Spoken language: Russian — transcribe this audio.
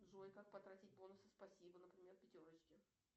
джой как потратить бонусы спасибо например в пятерочке